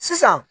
Sisan